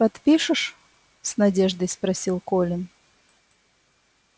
подпишешь с надеждой спросил колин